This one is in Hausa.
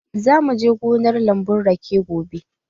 Za mu je gonar lambun rake gobe.